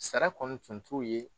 Sara kɔni tun t'u ye